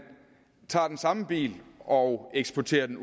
tager den samme bil og eksporterer den